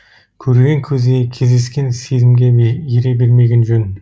көрген көзге кездескен сезімге ере бермеген жөн